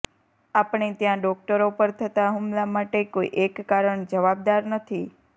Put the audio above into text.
આપણે ત્યાં ડોક્ટરો પર થતાં હુમલા માટે કોઈ એક કારણ જવાબદાર નથી